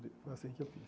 Foi assim que eu fiz.